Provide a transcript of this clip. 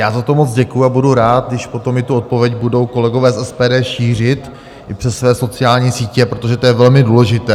Já za to moc děkuji a budu rád, když potom i tu odpověď budou kolegové z SPD šířit i přes své sociální sítě, protože to je velmi důležité.